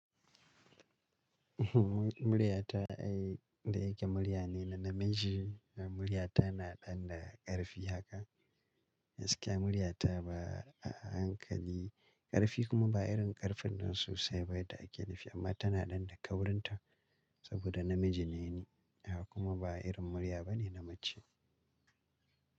Muryata ai inda yake murya ne na namiji. Muryata na ɗan da ƙarfi haka. Gaskiya muryata ba a hankali ƙarfi kuma ba irin ƙarfin nan sosaiba ba da ake nufi, amma tana ɗan da ƙaurinta saboda namiji ne ni kuma ba irin murya ba ne na mace.